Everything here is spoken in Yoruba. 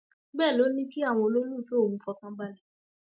bẹẹ ló ní kí àwọn olólùfẹ òun fọkàn balẹ